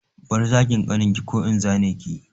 Bar zagin ƙaninki ko in zane ki!